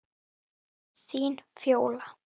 Það er einnig rangt.